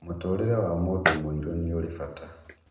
Mũtũrĩre wa mũndũ mũirũ nĩũrĩ bata